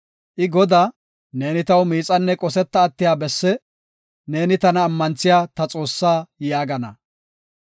I Godaa, “Neeni taw miixanne qosetta attiya bessi, neeni tana ammanthiya ta Xoossaa” yaagana.